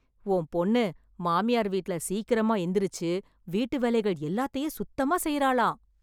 உன் பொண்ணு மாமியார் வீட்ல, சீக்கிரமா எந்திரிச்சு வீட்டு வேலைகள் எல்லாத்தையும் சுத்தமா செய்றாளாம்...